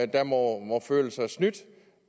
der må føle sig snydt